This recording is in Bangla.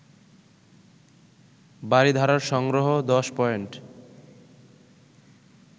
বারিধারার সংগ্রহ ১০ পয়েন্ট